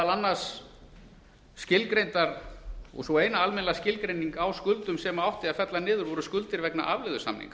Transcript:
annars skilgreint og sú eina almennilega skilgreining á skuldum sem átti að fella niður voru skuldir vegna afleiðusamninga